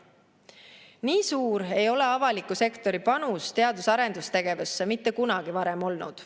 Nii suur ei ole avaliku sektori panus teadus‑ ja arendustegevusse mitte kunagi varem olnud.